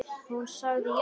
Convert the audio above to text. Hún sagði já.